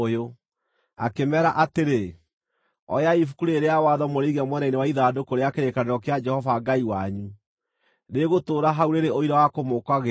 akĩmeera atĩrĩ, “Oyai Ibuku rĩĩrĩ rĩa Watho mũrĩige mwena-inĩ wa ithandũkũ rĩa kĩrĩkanĩro kĩa Jehova Ngai wanyu. Rĩgũtũũra hau rĩrĩ ũira wa kũmũũkagĩrĩra.